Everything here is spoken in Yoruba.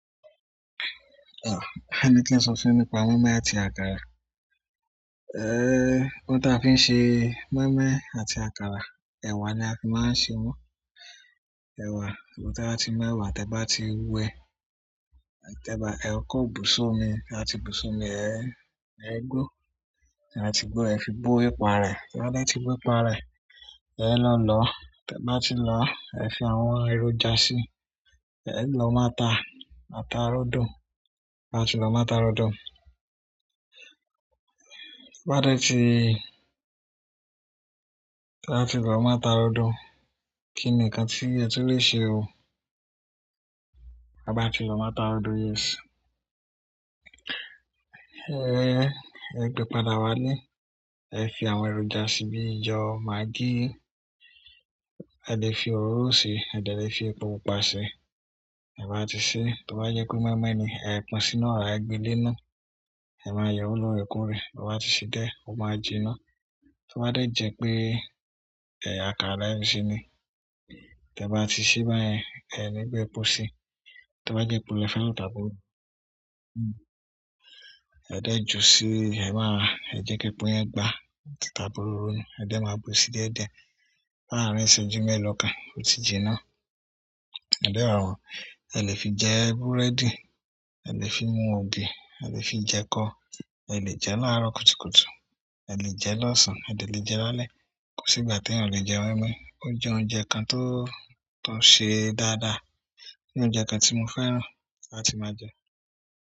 Ah! Ẹni tí n sosí nípa mọ́ímọ́í àti àkàrà. Ehhh! Ohun táa fi ṣe mọ́ímọ́í àti àkàrà, ẹ̀wà ni a fi máa ń ṣe wọ́n. Ẹ̀wà, te ba ti mu ẹ̀wà, tí ẹ bá ti wẹ́, tí ẹ bá, ẹ kó busoomi, te ba ti busoomi ẹ, ẹ gbó, tí ẹ ba ti gbó, ẹ fi bo epo ara rẹ̀. Tí wọ́n dẹ́ ti bo epo ara rẹ̀, ẹ lọ̀ lọ̀. Tí ẹ bá ti lọ, ẹ fi àwọn ẹrọjà sí i. Ẹ lọ máta, máta rọdo. Tí wọ́n bá ti lọ máta rọdo unn, kí ni nǹkan ti e tun lè ṣe o. Bá ti lọ máta rọdùn yẹn ṣé. Ehhhh! Ẹ gbe pàdá wálé, ẹ fi àwọn ẹrọjà sí i bíi iyọ, maggi. Ẹ lè fi òróró sí i, ẹ̀dẹ̀ lè fi epo pupa sí i. Te bá ti sé, tí o bá jẹ́ pe mọ́ímọ́í ni, ẹ pín sínú ọ̀ra, ẹ gbe lé iná. Ẹ máa yeewo lóore koorẹ̀. Ti o bá ti ṣe diẹ́, ó máa jiná. Tí o bá dẹ̀ jẹ́ pé, àkàrà le fẹ́ fi se ni. Tí ẹ bá ti ṣe báyẹn, ẹ ní bu epo sí i. Tí o bá jẹ́ epo le fe lọ tàbí ororò. Hmm! Ẹ dẹ̀ ju sí i. Ẹ máa, ẹ jẹ́ kí epo yẹn gba, tàbí òróró na. Ẹ dẹ̀ máa bú sí i díẹ̀díẹ̀. Lárin ìṣẹ́jú mẹ́ẹ̀lọ̀ kan, ó ti jiná. Ẹ dẹ̀ rà wọ́n. Ẹ lè fi jẹ búrẹ́dì, ẹ lè fi mú ògì, ẹ lè fi jẹ ekọ, ẹ lè jẹ láàárọ̀ kùtùkùtù, ẹ lè jẹ lọ́sàn-án, ẹ̀dẹ̀ lè jẹ lálẹ́. Kò sí ìgbà tí ènìyàn ò lè jẹ mọ́ímọ́í. Ó jẹ́ oúnjẹ kan tó, tó ṣe dáadáa, tó jẹ́ oúnjẹ kan tí mo fẹ́ràn, làti máa jẹ.